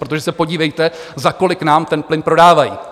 Protože se podívejte, za kolik nám ten plyn prodávají.